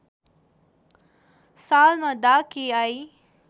सालमा डा केआई